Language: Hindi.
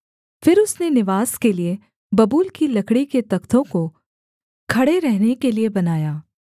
फिर उसने निवास के लिये बबूल की लकड़ी के तख्तों को खड़े रहने के लिये बनाया